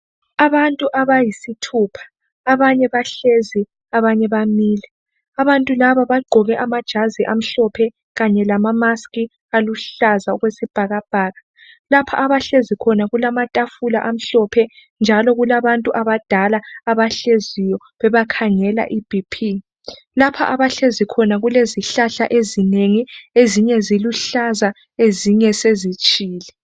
Abantu abayisithupha abanye bahlezi abanye bamile abantu laba bagqoke amajazi amhlophe kanye lama "musk" aluhlaza okwesibhakabhaka lapha abahlezi khona kulamatafula amhlophe njalo kulabantu abadala abahleziyo bebakhangela i"BP "lapha abahlezi khona kulezihlahla ezinengi ezinye ziluhlaza ezinye sezitshile.